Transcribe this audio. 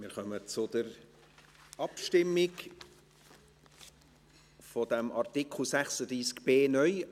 Wir kommen zur Abstimmung zu Artikel 36b (neu)